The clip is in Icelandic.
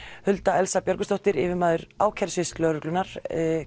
Hulda Elsa Björgvinsdóttir yfirmaður ákærusviðs lögreglunnar